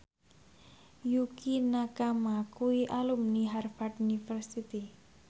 Yukie Nakama kuwi alumni Harvard university